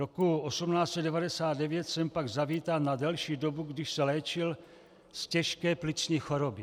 Roku 1899 sem pak zavítal na delší dobu, když se léčil z těžké plicní choroby.